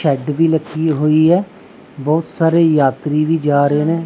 Shed ਵੀ ਲੱਗੀ ਹੋਈ ਅ ਬਹੁਤ ਸਾਰੇ ਯਾਤਰੀ ਵੀ ਜਾ ਰਹੇ ਨੇਂ।